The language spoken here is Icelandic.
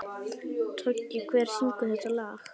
Toggi, hver syngur þetta lag?